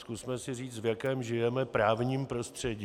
Zkusme si říct, v jakém žijeme právním prostředí.